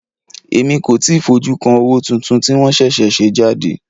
Èmi kò tíì fojú kan owó tuntun tí wọ́n ṣẹ̀ṣẹ̀ ṣe jáde.